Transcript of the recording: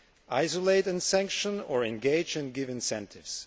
Isolate and sanction, or engage and give incentives?